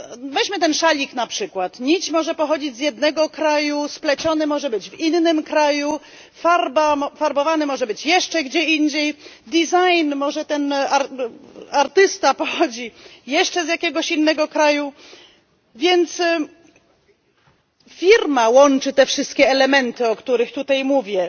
Weźmy ten szalik na przykład nić może pochodzić z jednego kraju, spleciony może być w innym kraju, farbowany może być jeszcze gdzie indziej, jeśli chodzi o design, to artysta może pochodzić jeszcze z jakiegoś innego kraju, więc firma łączy te wszystkie elementy, o których tutaj mówię,